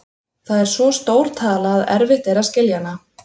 Það er svo stór tala að erfitt er að skilja hana.